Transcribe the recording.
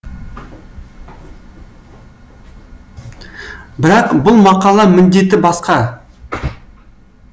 бірақ бұл мақала міндеті басқа